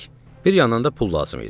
Bir yandan da pul lazım idi.